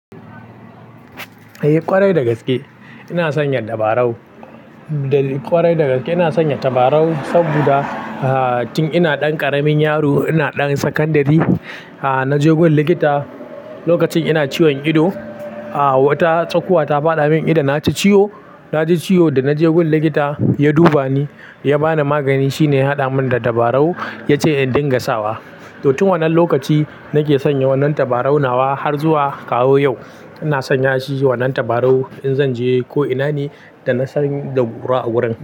Eh ƙwarai da gaske ina sanya tabarau. Da ƙwarai da gaske ina sanya tabarau saboda, ah, tun ina ɗan ƙaramin yaro ina ɗan sakandari, ah, naje gun likita lokacin ina ciwon ido. Ah, wata tsakuwa ta faɗa min idan na ci ciyo. Na ji ciyo da naje gun likita ya duba ni ya bani magani shine ya haɗa min da tabarau ya ce in dinga sawa. To tun wannan lokaci nake sanya wannan tabarau nawa har zuwa kawo yau ina sanya shi wannan tabarau in zan je ko ina ne da na sani da gura a wurin.